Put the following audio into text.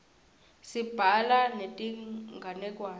sibhala netinganekwane